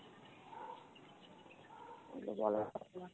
সেগুলো বলার কথা নয়।